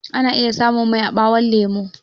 Ana iya samun mai a ɓawon lemo